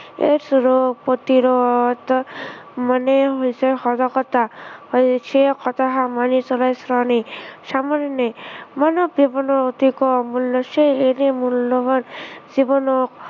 AI ৰোগ প্ৰতিৰোধ মানেই হৈছে সজাগতা। আৰু সেই কথাষাৰ মানি চলাই শ্ৰেয়। আমি সামান্য় মানৱ জীৱনৰ অতিকৈ অমূল্য় হৈছে, এনে মূল্য়ৱান, জীৱনক